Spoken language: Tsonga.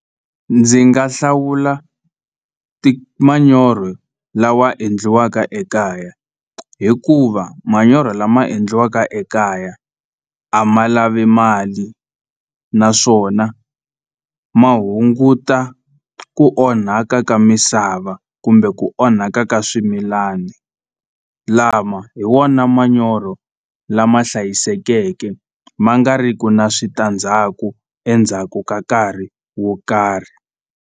Ndzi nga hlawula ti manyoro lawa endliwaka ekaya hikuva manyoro lama endliwaka ekaya a ma lavi mali naswona ma hunguta ku onhaka ka misava kumbe ku onhaka ka swimilani lama hi wona manyoro lama hlayisekeke ma nga ri ki na switandzhaku endzhaku ka nkarhi wo karhi.